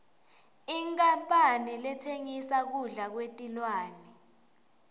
inkhampane letsengisa kudla kwetilwane